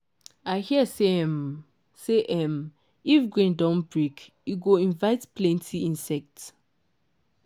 i hear say um say um if grain don break e go invite plenty insect.